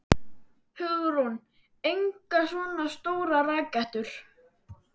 Hugrún: En engar svona stórar rakettur?